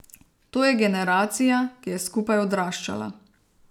To je generacija, ki je skupaj odraščala.